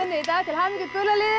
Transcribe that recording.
í dag til hamingju gula liðið